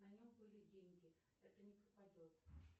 на нем были деньги это не пропадет